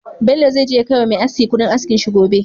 Bello zai je ya kai wa Me aski Ƙudin askin shi gobe